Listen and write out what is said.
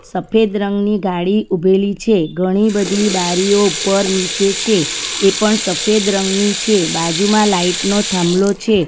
સફેદ રંગ ની ગાડી ઉભેલી છે ઘણી બધી બારીઓ ઉપર નીચે છે એ પણ સફેદ રંગની છે બાજુમાં લાઈટ નો થાંભલો છે.